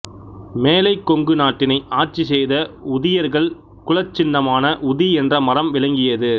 மேலைக்கொங்கு நாட்டினை ஆட்சி செய்த உதியர்கள் குலச்சின்னமாக உதி என்ற மரம் விளங்கியது